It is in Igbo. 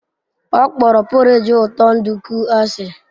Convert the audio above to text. Ọ kpọrọ porridge ụtọ nduku asị.